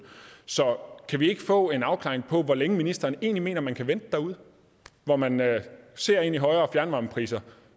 så kan vi ikke få en afklaring på hvor længe ministeren egentlig mener at man kan vente derude hvor man ser ind i højere fjernvarmepriser